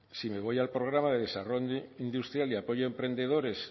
si me voy al programa de desarrollo industrial y apoyo a emprendedores